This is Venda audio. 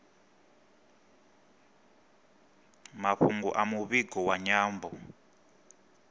mafhungo a muvhigo wa nyambo